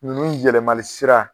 Ninnu yɛlɛmali sira.